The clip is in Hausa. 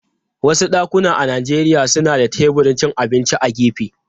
Wasu dakuna a Najeriya suna da teburin cin abinci a gefe.